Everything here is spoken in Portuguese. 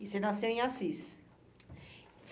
E você nasceu em Assis.